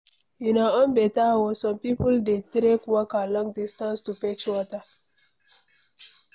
Una own beta oo, some people dey trek waka long distance to fetch water